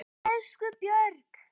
Elsku Björg.